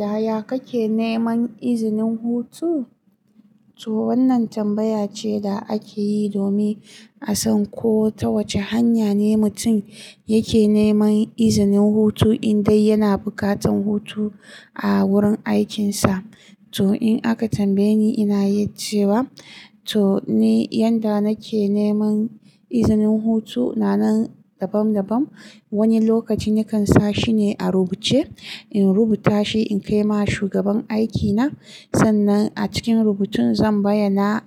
Yaya kake neman izinin hutu? To wannan tambaya ce da ake yi domin a san ko ta wace hanya ne mutum yake neman izinin hutu in dai yana bukatan hutu a wurin aikinsa. To in aka tambaye ni, ina yi cewa to ni yanda nake neman izinin hutu na nan daban-daban. Wani lokaci nakan sa shine a rubuce, in rubuta shi in kai ma shugaban aikina. Sannan a cikin rubutun zan bayyana,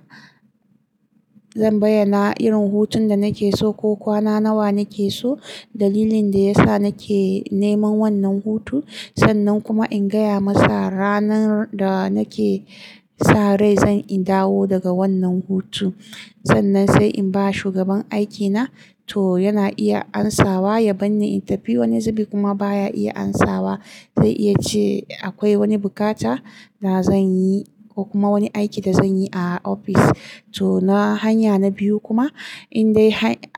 zan bayyana irin hutun da nake so ko kwana nawa nake so, dalilin da yasa nake neman wannan hutu. Sannan kuma in gaya masa ranar da nake sarai zan in dawo daga wannan hutu. Sannan sai in ba shugaban aikina to yana iya amsawa, ya bani in tafi wani zubi kuma baya iya amsawa. Zai iya ce akwai wani bukata da zan yi ko kuma wani aiki da zan yi a ofis. To na hanya na biyu kuma in dai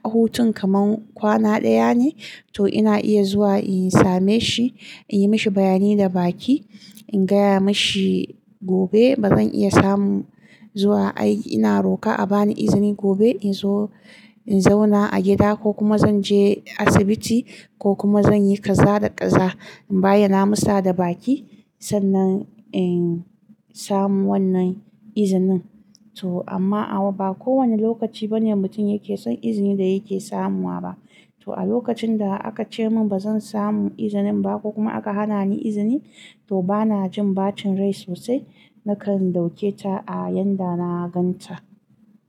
hutun kamar kwana ɗaya ne to ina iya zuwa in same shi, in yi mishi bayanai da baki. In gaya mashi gobe ba zan iya samu zuwa aiki, ina roka a bani izini gobe in zo in zauna a gida ko kuma zan je asibiti ko kuma zan yi ƙaza da ƙaza. In bayyana masa da baki sannan in samu wannan izinin. To amma a wa ba kowane lokaci bane mutum yake son izinin da yake samuwa ba. To a lokacin da aka ce mun ba zan samu izinin ba ko kuma aka hana ni izini to bana jin ɓacin rai sosai. Nakan dauke ta a yanda na gan ta.